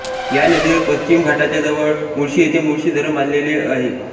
या नदीवर पश्चिम घाटाच्या जवळ मुळशी येथे मुळशी धरण बांधलेअ आहे